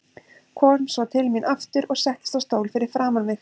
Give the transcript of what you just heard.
Kom svo til mín aftur og settist á stól fyrir framan mig.